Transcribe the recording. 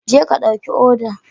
Jeka ɗauki odar